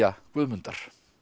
Guðmundar